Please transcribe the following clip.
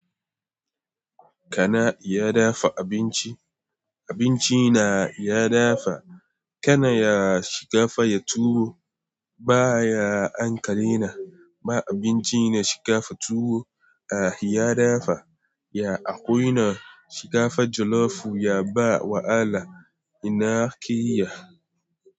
Kana iya dafa abinci? Abinci na iya dafa. Kana ya shiga fa ya tuwo ba ya ankare na. Ba abinci na shiga fa tuwo a ya dafa. Ya akwaina yana shinkafa jollof ya ba wahala ina ake ya.